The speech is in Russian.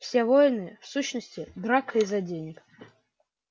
все войны в сущности драка из-за денег